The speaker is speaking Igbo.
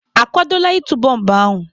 A kwadola ịtụ bọmbụ ahụ?